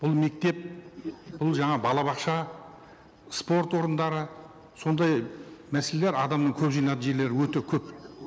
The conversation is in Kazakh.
бұл мектеп бұл жаңа балабақша спорт орындары сондай мәселелер адамның көп жиналатын жерлері өте көп